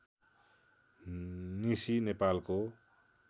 निसी नेपालको